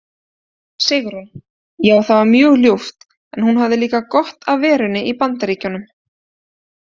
Sigrún: Já það var mjög ljúft en hún hafði líka gott af verunni í BAndaríkjunum.